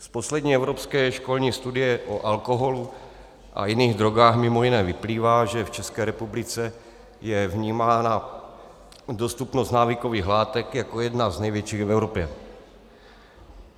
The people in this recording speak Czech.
Z poslední evropské školní studie o alkoholu a jiných drogách mimo jiné vyplývá, že v České republice je vnímána dostupnost návykových látek jako jedna z největších v Evropě.